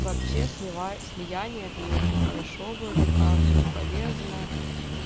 вообще слива слияние это не очень хорошо вроде как и не полезно